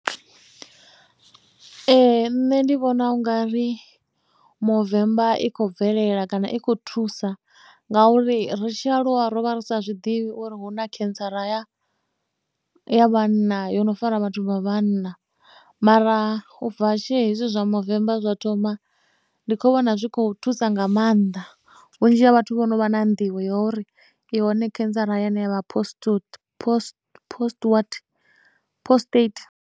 Ee nṋe ndi vhona u nga ri movemba i khou bvelela kana i khou thusa ngauri ri tshi a lwa rovha ri sa zwiḓivhi uri hu na cancer ya ya vhanna yo no fara vhathu vha vhanna mara ubva tshi hezwi zwa movemba zwa thoma ndi kho vhona zwi kho thusa nga maanḓa vhunzhi ha vhathu vho no vha na nḓivho ya uri i hone cancer hayani yavha postute post post what postate.